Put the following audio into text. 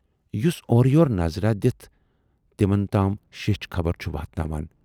یُس اورٕیورٕ نظراہ دِتھ، تِمَن تام شیچھ خبر چھُ واتناوان۔